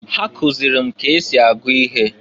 Ha kụzịlị m ka esi agụ ihe.